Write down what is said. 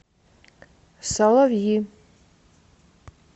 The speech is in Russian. соловьи